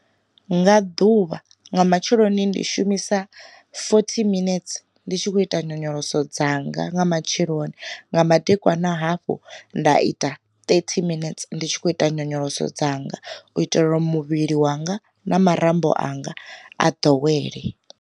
Nga ḓuvha nga matsheloni ndi shumisa fothi minetse ndi tshi khou ita nyonyoloso dzanga nga matsheloni, nga madekwana hafhu nda ita thirty minets ndi tshi khou ita nyonyoloso dzanga u itela uri muvhili wanga na marambo anga a ḓowele.